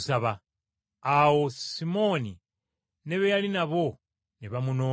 Awo Simooni ne be yali nabo ne bamunoonya,